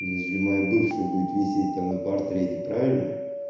нежели моя бывшая будет висеть там на портрете правильно